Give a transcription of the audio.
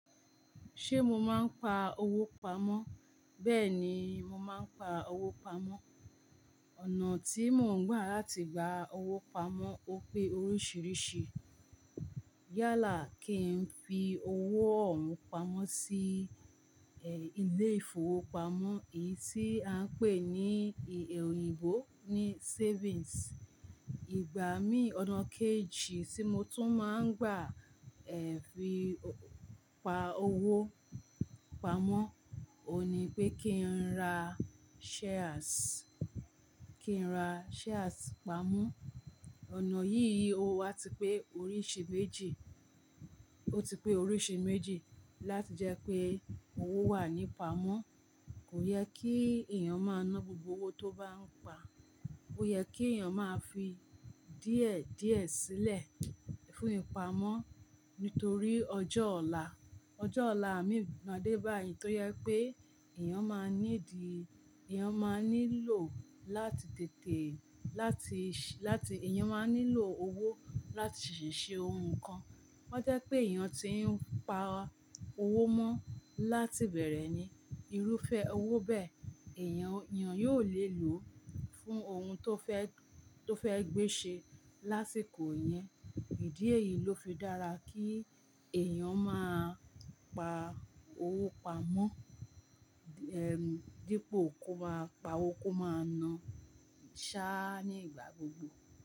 Ṣé mo máa ń pa owó pamọ́? Bẹ́ẹ̀ ni, mo máa ń pa owó pamọ́. Ọ̀nà tí mò ń gbà láti gba owó pamọ́ ó pé oríṣìíríṣìí. Yálà kí n fi owó òun pamọ́ sí, ẹ, ilé ìfowópamọ́, èyí tí à ń pè ní èyí òyìnbó ní savings. Ìgbà mí ọ̀nà kejì tí mo tún máa ń gbà, ẹ, fi pa owó pamọ́, ò ní pé kí n ra shares, kí n ra shares pamọ́. Ọ̀nà yìí, ó wá ti pé oríṣi méjì, ó ti pé oríṣi méjì láti jẹ́ pé owó wà ní pamọ́. Kò yẹ kí èèyàn máa na gbogbo owó tó bá ń pa. Ó yẹ kí èèyàn máa fi díẹ̀ díẹ̀ sílẹ̀ fún ìpamọ́ nítorí ọjọ́ ọ̀la. Ọjọ́ ọ̀lamii máa dé báyìí torí pé èèyàn máa ní di-- èèyàn máa nílò láti tètè láti ṣ-- láti èèyàn máa nílò owó láti ṣèṣe ohun kan. Wọ́n jẹ́ pé èèyàn tí ń pa owó mọ́ láti bẹ̀rẹ̀ ni irúfẹ́ owó bẹ́ẹ̀, èèyàn, èèyàn yóò lè lò ó fún ohun tó fẹ́, tó fẹ́ gbé ṣe lásìkò yẹn. Ìdí èyí ló fi dára kí èèyàn máa pa owó pamọ́, ẹm, dípò kó máa pa owó kó máa na ṣá ní ìgbà gbogbo.